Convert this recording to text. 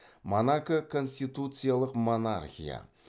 монако конституциялық монархия